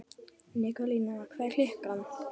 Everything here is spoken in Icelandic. Nikólína, hvað er klukkan?